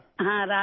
ہاں، رادھے